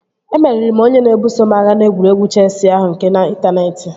Emeriri m onye na-ebuso m agha n'egwuregwu chesị ahụ nke n'intaneeti